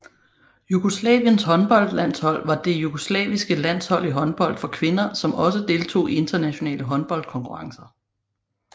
Jugoslaviens håndboldlandshold var det jugoslaviske landshold i håndbold for kvinder som også deltog i internationale håndboldkonkurrencer